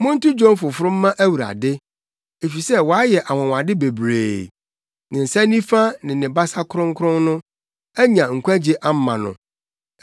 Monto dwom foforo mma Awurade, efisɛ wayɛ anwonwade bebree; ne nsa nifa ne ne basa kronkron no anya nkwagye ama no.